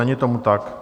Není tomu tak.